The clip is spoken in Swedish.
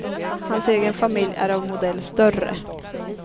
Hans egen familj är av modell större.